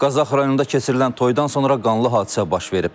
Qazax rayonunda keçirilən toyldan sonra qanlı hadisə baş verib.